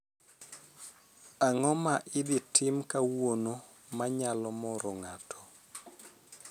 Ang'o ma idhi tim kawuono ma nyalo moro ng'ato